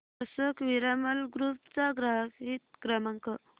Ashok Piramal group चा ग्राहक हित क्रमांक